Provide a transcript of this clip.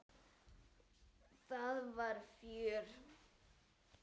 Það var fjör.